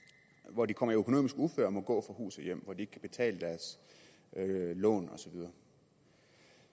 hvor de kommer i økonomisk uføre og må gå fra hus og hjem og hvor ikke kan betale deres lån